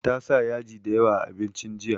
Ta sa yaji da yawa a abincin jiya